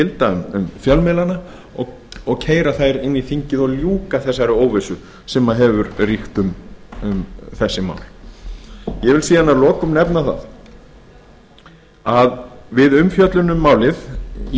gilda um fjölmiðlana og keyra þær inn í þingið og ljúka þeirri óvissu sem hefur ríkt um þessi mál að lokum vil ég svo nefna að við umfjöllun um málið í